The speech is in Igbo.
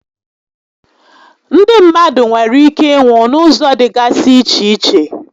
Ndị mmadụ nwèrè íké ịnwụ n'ụzọ dịgasị iche iche